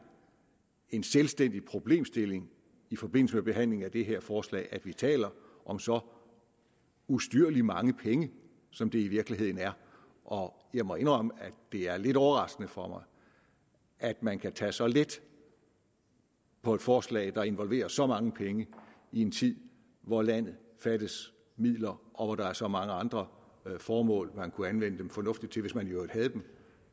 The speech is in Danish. en selvstændig problemstilling i forbindelse med behandlingen af det her forslag at vi taler om så ustyrlig mange penge som det i virkeligheden er og jeg må indrømme at det er lidt overraskende for mig at man kan tage så let på et forslag der involverer så mange penge i en tid hvor landet fattes midler og hvor der er så mange andre formål kunne anvende dem fornuftigt til hvis vi i øvrigt havde dem